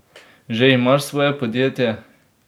Že imaš svoje podjetje?